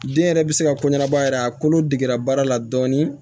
Den yɛrɛ bɛ se ka ko ɲanabɔ a yɛrɛ ye a kolo degera baara la dɔɔni